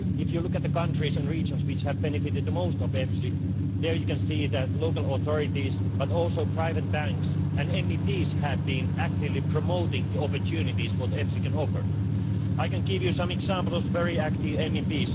If you look at the countries and regions which have benefited the most from EFSI you can see that local authorities, and also private banks and MEPs, have been actively promoting the opportunities which EFSI can offer. I can give you some examples of very active MEPs.